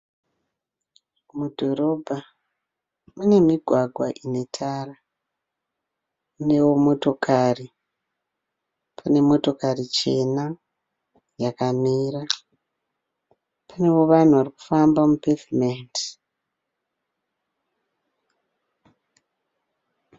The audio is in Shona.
Mudhorobha mune migwagwa ine tara. Inewo motokari. Pane motokari chena yakamira. Panewo vanhu vari kufamba mupevhumendi.